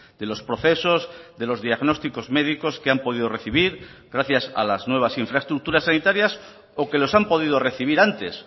de los procesos de los diagnósticos médicos que han podido recibir gracias a las nuevas infraestructuras sanitarias o que los han podido recibir antes